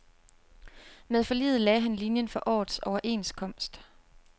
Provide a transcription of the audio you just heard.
Med forliget lagde han linien for årets overenskomst.